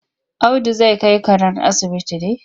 Audu zai kai karen asibiti ne?